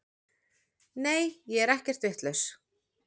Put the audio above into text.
Nei ég er ekkert vitlaus.